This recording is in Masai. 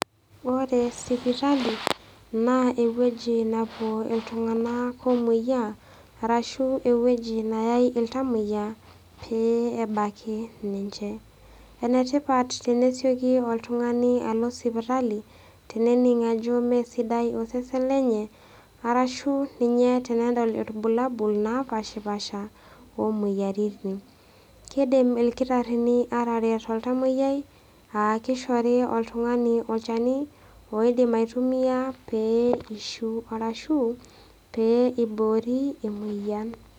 Ore sipitali, naa ewueji napuo iltung'ana oomwoiyaa, arashu ewueji nayai iltamwoiya pee ebaki ninche. Ene tipat tenesioki oltung'ani alo sipitali, tenening ajo mee sidai osesen lenye, arashu tanaa ninye tenedol ilbulabul opaashapasha o imoyaritin. Keidim ilkitarini ateret oltamwoyia aa keishori oltung'ani olchani oidim aitumiya pee eishu, arashu, pee eiboori emoyian.